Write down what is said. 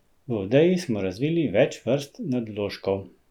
V Odeji smo razvili več vrst nadvložkov.